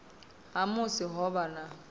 ha musi ho vha na